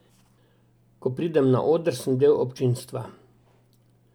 Ko pridem na oder, sem del občinstva.